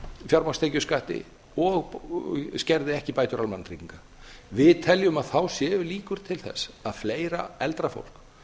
fjármagnstekjuskatti og skerði ekki bætur almannatrygginga við teljum að þá séu líkur til þess að fleira eldra fólk